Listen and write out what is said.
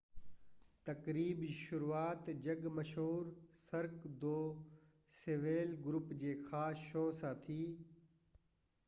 تقريب جي شروعات جڳ مشهور سرڪ دو سوليل گروپ جي خاص شو سان ٿي